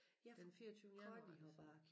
Ja fra fireogtyvende januar så